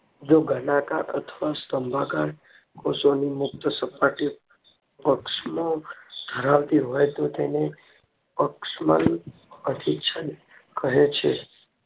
જે ઘનાકાર અથવા સ્તંભાકાર કોષોની મુક્ત સપાટી પક્ષમોં ધરાવતી હોય તેને પક્ષમન અભિછેદ કહે છે